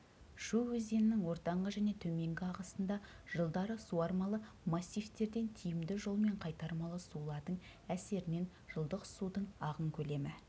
шу өзенінің ортаңғы және төменгі ағысында жылдары суармалы массивтерден тиімді жолмен қайтармалы сулардың әсерінен жылдық судың ағын көлемі